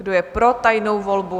Kdo je pro tajnou volbu?